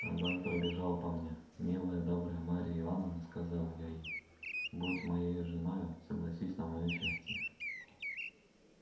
огонь пробежал по мне милая добрая марья ивановна сказал я ей будь моею женою согласись на моё счастье